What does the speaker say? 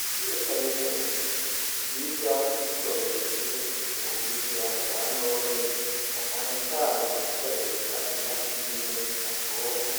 Ishure Kaminuza biga bakoresheje ubuhinga bwa none na cane cane mu gukoresha imashine nyabwonko